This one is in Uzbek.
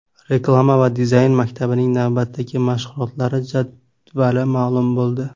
Reklama va dizayn maktabining navbatdagi mashg‘ulotlari jadvali ma’lum bo‘ldi.